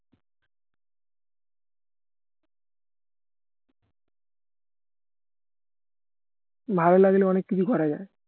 ভালো লাগলে অনেক কিছু করা যায়